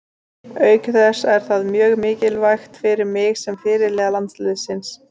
Auk þess er það mjög mikilvægt fyrir mig sem fyrirliða landsliðsins.